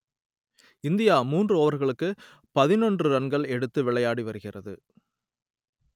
India மூன்று ஓவர்களுக்கு பதினொன்று ரன்கள் எடுத்து விளையாடி வருகிறது